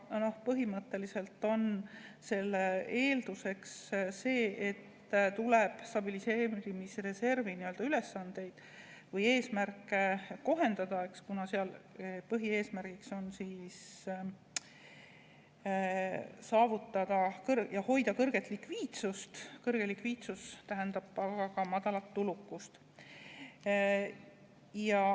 Põhimõtteliselt on selle eelduseks see, et tuleb stabiliseerimisreservi ülesandeid või eesmärke kohendada, kuna seal põhieesmärk on saavutada ja hoida kõrget likviidsust, kõrge likviidsus tähendab aga madalat tulukust.